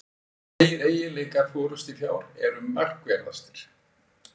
Tveir eiginleikar forystufjár eru markverðastir.